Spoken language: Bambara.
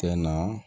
Kɛ na